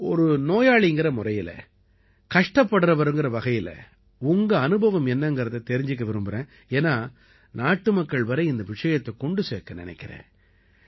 ஒரு நோயாளிங்கற முறையில கஷ்டப்படுறவர்ங்கற வகையில உங்க அனுபவம் என்னங்கறதை தெரிஞ்சுக்க விரும்பறேன் ஏன்னா நாட்டுமக்கள் வரை இந்த விஷயத்தைக் கொண்டு சேர்க்க நினைக்கறேன்